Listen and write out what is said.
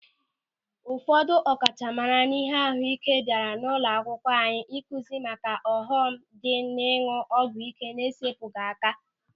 Ụfọdụ ọkachamara n'ịhe ahụike bịara ụlọakwụkwọ anyị ịkụzi maka ọghọm dị n'ịñụ ọgwụ ị́ké na-esepụghị aka.